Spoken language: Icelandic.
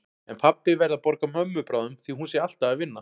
En pabbi verði að borga mömmu bráðum því hún sé alltaf að vinna.